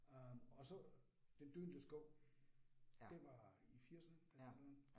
Øh og så den døende skov. Det var i firserne eller sådan noget